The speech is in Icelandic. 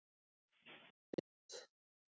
Röfl um litla breidd